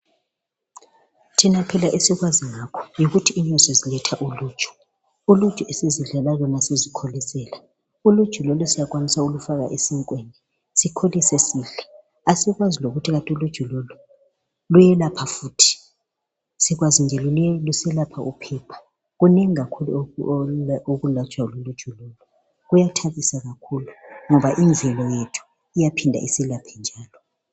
Thina phela esikwazi ngakho yikuthi inyosi ziletha uluju, uluju esizidlela lona sizikholisela uluju lolu siyakwanisa ukulufaka esinkweni sikholise sidle asikwazi lokuthi kanti uluju lolu luyelapha futhi, sikwazi nje luselapha iphepha. Kunengi kakhulu okulatshwa luluju lolu kuyathabisa kakhulu ngoba imizimba yethu iyaphinda iselaphe njalo.